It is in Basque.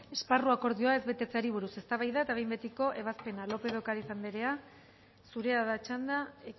esparru akordioa ez betetzeari buruz eztabaida eta behin betiko ebazpena lópez de ocariz anderea zurea da txanda